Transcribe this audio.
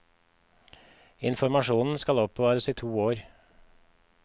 Informasjonen skal oppbevares i to år.